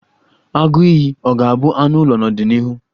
Agụiyi ọ ga-abụ anụ ụlọ n'ọdịnịhu?